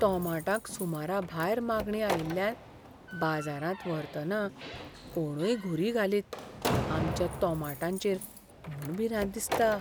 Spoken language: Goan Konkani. तोमाटांक सुमराभायर मागणी आयिल्ल्यान बाजारांत व्हरतना कोणूय घुरी घालीत आमच्या तोमाटांचेर म्हूण भिरांत दिसता.